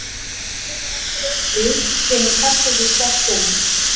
Maður er nefndur einnig kemur kastljósið sterkt inn